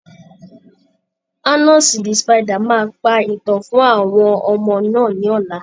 Anasi the spider máa pa ìtàn fún àwọn ọmọ náà ní ọ̀la.